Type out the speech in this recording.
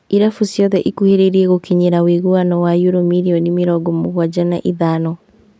Irabu ciothe ikuhĩrĩirie gũkinyĩria ũiguano wa yuro mirioni mĩrongo mũgwanja na ithano